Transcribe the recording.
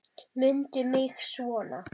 Mundu mig svona.